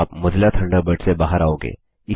आप Mozilla Thunderbird से बाहर आओगे